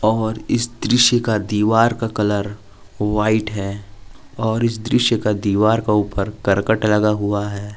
और इस दृश्य का दीवार का कलर व्हाइट है और इस दृश्य का दीवार के ऊपर करकट लगा हुआ है।